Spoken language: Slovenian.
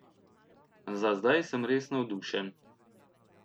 Za zdaj sem res navdušen.